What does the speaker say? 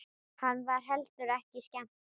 Henni var heldur ekki skemmt.